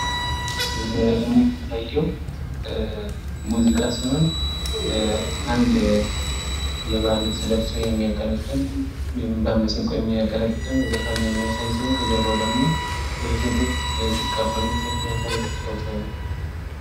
ከዚህኛው ላይ ደግሞ የሚታየው ሙዚቃ ሲሆን አንድ የባህል ልብስ ለብሰው የሚያቀነቅን ወይም በማሲንቆ የሚያቀነቅን ዘፋኝ የሚያሳይ ሲሆን ከጀርባው ደግሞ ሴቶች ሲቀበሉት የሚያሳይ ፎቶ ነው።